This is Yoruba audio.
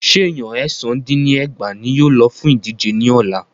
Ṣé Èèyan èsán dín ní ẹgbàá ní yóò lọ fún ìdíje ní ọ̀la?